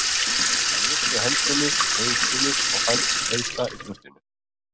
Hann lyfti hendinni í kveðjuskyni og fann til þrengsla í brjóstinu.